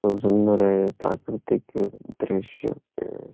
খুব সুন্দর এ প্রাকৃতিক-ই দৃশ্য। এ--